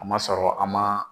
A ma sɔrɔ an ma.